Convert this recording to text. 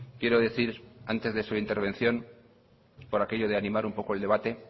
quiero decir antes de su intervención por aquello de animar un poco el debate